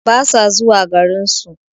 Basa zuwa garinsu